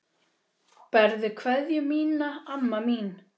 Berðu kveðju mína, amma mín.